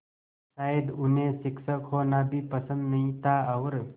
शायद उन्हें शिक्षक होना भी पसंद नहीं था और